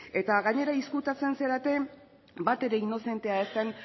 eta gainera ezkutatzen zarete batere inozentea ez den